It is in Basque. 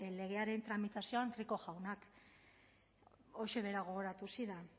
legearen tramitazioan rico jaunak horixe bera gogoratu zidan